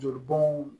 Jolibɔn